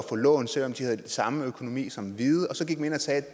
få lån selv om de havde den samme økonomi som hvide og så gik man ind og sagde at